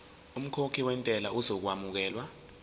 umkhokhi wentela uzokwamukelwa